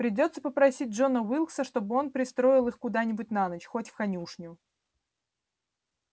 придётся попросить джона уилкса чтобы он пристроил их куда-нибудь на ночь хоть в конюшню